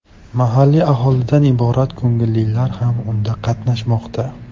Mahalliy aholidan iborat ko‘ngillilar ham unda qatnashmoqda.